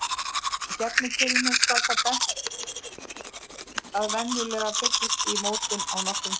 Af gefnu tilefni skal á það bent að venjulega fyllist í mótin á nokkrum dögum.